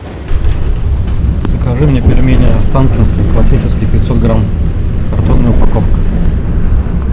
закажи мне пельмени останкинские классические пятьсот грамм картонная упаковка